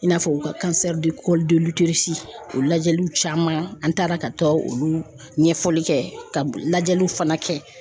I n'a fɔ u ka o lajɛliw caman an taara ka taa olu ɲɛfɔli kɛ ka lajɛliw fana kɛ.